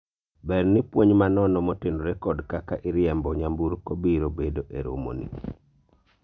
ber ni puonj ma nono motenore kod kaka iriembo nyamburko biro bedo e romo ni